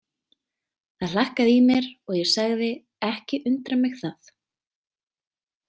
Það hlakkaði í mér og ég sagði: Ekki undrar mig það.